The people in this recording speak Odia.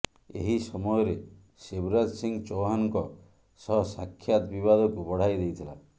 ଏହି ସମୟରେ ଶିବରାଜ ସିଂ ଚୌହାନ୍ଙ୍କ ସହ ସାକ୍ଷାତ ବିବାଦକୁ ବଢ଼ାଇ ଦେଇଥିଲା